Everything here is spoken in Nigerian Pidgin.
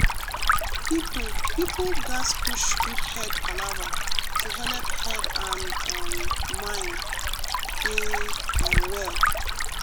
people people gatz push good head palava to helep head and um mind dey um well.